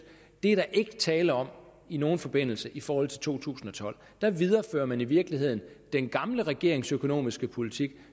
er der ikke tale om i nogen forbindelse i forhold til to tusind og tolv der viderefører man i virkeligheden den gamle regerings økonomiske politik